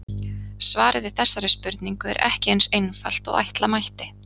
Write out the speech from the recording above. Svarið við þessari spurningu er ekki eins einfalt og ætla mætti.